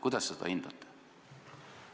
Kuidas te seda hindate?